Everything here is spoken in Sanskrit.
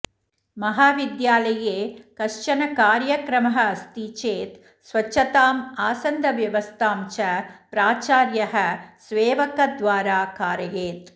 महाविद्यालये कश्चन कार्यक्रमः अस्ति चेत् स्वच्छताम् आसन्दव्यवस्थां च प्राचार्यः सेवकद्वारा कारयेत्